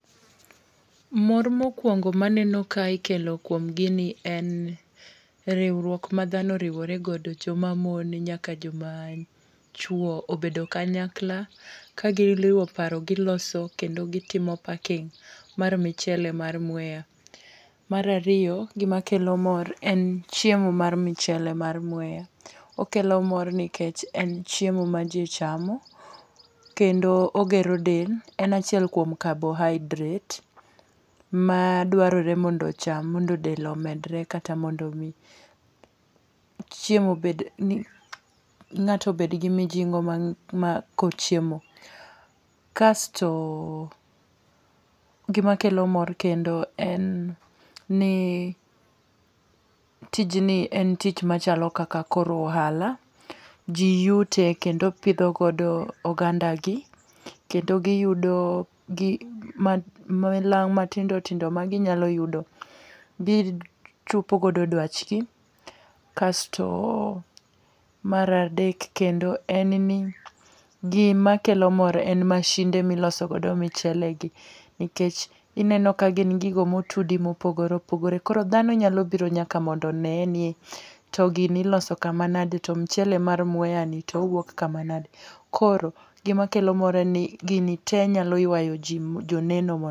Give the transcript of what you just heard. Mor mokwongo maneno kae kelo kuom gi ni en riwruok ma dhano oriworegodo joma mon nyaka joma chuo obedo kanyakla kagiriwo paro giloso kendo gitimo paking mar michele mar Mwea. Mar ariyo gima kelo mor en chiemo mar michele mar Mwea. Okelo mor nikech en chiemo ma ji chamo. Kendo ogero del. En achiel kuom carbohydrates madwarore mondo ocham mondo del omedre lata mondo mi chiemo ng'ato bed gi mijingo ma ko chiemo. Kasto gima kelo mor kendo en ni tijni en tich machalo kaka koro ohala. Ji yute kendo pidho godo oganda gi kendo giyudo balang' matindo tindo ma ginyalo yudo gichopo godo dwach gi. Kasto mar adek kendo en ni gima kelo mor e masinde miloso godo michele gi nikech ineno ka gin gigo motudi mopogore opogore. Koro dhano nyalo biro mondo nya mondo one ni to gini iloso kamanage to michele mar Mwea ni towuok kamanade. Koro gima kelo mor en ni gini te nyalo ywayo ji joneno.